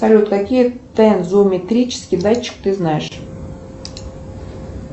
салют какие тензометрический датчик ты знаешь